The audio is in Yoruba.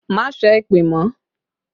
Má sẹ́ èpè mọ́!